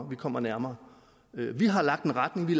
vi kommer nærmere vi har lagt en retning vi